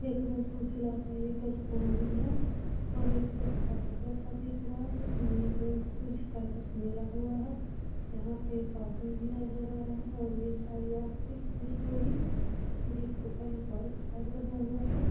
एक बस उजला है एक आसमानी है और एक सायद काला जैसा दिख रहा है। ये में कुछ कलर मिला हुआ है यहाँ पे एक आदमी भी नजर आ रहा है और ये सारी ऑफिस - उफिस होगी जिसके ऊपर और घर बना हुआ है।